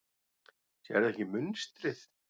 Sérðu ekki munstrið?